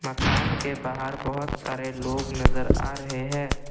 दुकान के बाहर बहोत सारे लोग नजर आ रहे हैं।